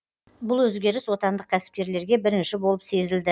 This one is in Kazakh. бұл өзгеріс отандық кәсіпкерлерге бірінші болып сезілді